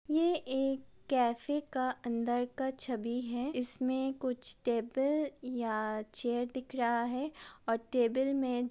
यह एक कैफे के अंदर का छवि है इसमें कुछ टेबल या चेयर दिख रहा है और टेबल मे--